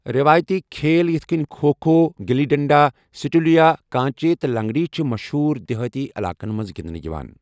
روٲیتی کھِیل یِتھ کٔنۍ کھو کھو، گلی ڈنڈا، سیٹولیا، کانچے تہٕ لنگڑی چھِ مشہوٗر دہٲتی علاقَن منٛز گندنہٕ یوان۔